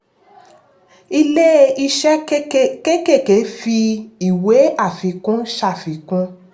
ilé-iṣẹ́ kékèké fi ìwé àfikún ṣàfikún.